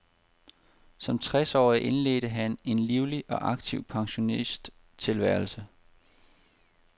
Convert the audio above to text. Som tres årig indledte han en livlig og aktiv pensionisttilværelse.